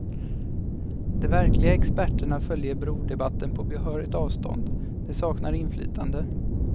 De verkliga experterna följer brodebatten på behörigt avstånd, de saknar inflytande.